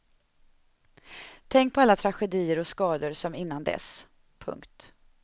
Tänk på alla tragedier och skador som innan dess. punkt